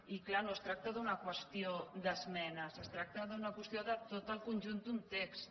i clar no es tracta d’una qüestió d’esmenes es tracta d’una qüestió de tot el conjunt d’un text